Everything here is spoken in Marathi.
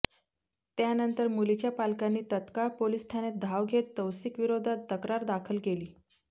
त्यानंतर मुलीच्या पालकांनी तत्काळ पोलीस ठाण्यात धाव घेत तौसिकविरोधात तक्रार दाखल केली